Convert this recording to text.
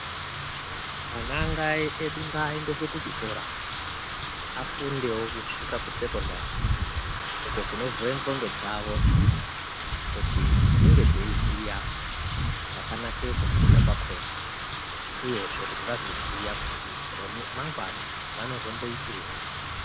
Ana edu ngaendeswe kuchikora afundewo kusvika kusekondari uko kunovhura ngonxo dzavo kuti dzinge dzeiziva zvakanakira kufunda kwakona uyezve kuti vazoziva kuti ramangwana vanozomboitei.